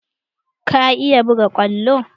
Ka iya buga kwallo?